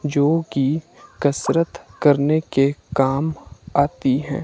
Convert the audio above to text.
जो कि कसरत करने के काम आती हैं।